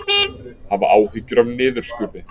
Hafa áhyggjur af niðurskurði